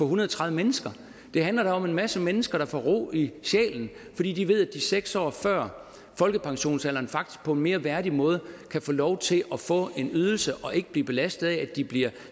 hundrede og tredive mennesker det handler da om en masse mennesker der får ro i sjælen fordi de ved at de seks år før folkepensionsalderen faktisk på en mere værdig måde kan få lov til at få en ydelse og ikke blive belastet af at de bliver